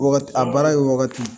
A baara ye waagati